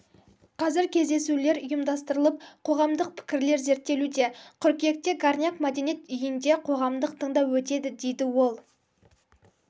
қазір кездесулер ұйымдастырылып қоғамдық пікірлер зерттелуде қыркүйекте горняк мәдениет үйінде қоғамдық тыңдау өтеді дейді ол